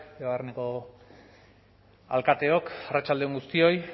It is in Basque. debabarreneko alkateok arratsalde on guztioi